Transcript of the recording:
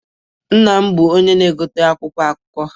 Nna m na-egote akwụkwọ akụkọ.